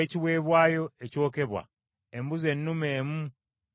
embuzi ennume emu nga ya kiweebwayo olw’ekibi;